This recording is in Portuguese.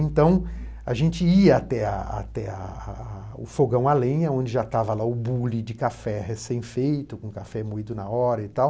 Então, a gente ia até ah até ah o fogão a lenha, onde já estava lá o bule de café recém feito, com café moído na hora e tal.